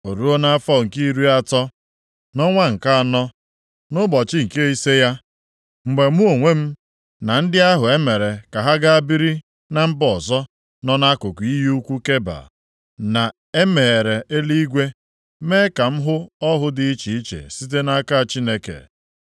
O ruo nʼafọ nke iri atọ, nʼọnwa nke anọ, nʼụbọchị nke ise ya, mgbe mụ onwe m na ndị ahụ e mere ka ha gaa biri na mba ọzọ nọ nʼakụkụ iyi ukwu Keba, na e meghere eluigwe mee ka m hụ ọhụ dị iche iche site nʼaka Chineke.